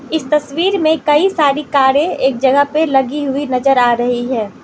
इस तस्वीर में कई सारी कारें एक जगह पे लगी हुई नजर आ रही है।